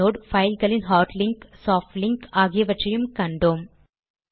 inode பைல்களின் hard link soft link ஆகியவற்றையும் கற்றோம்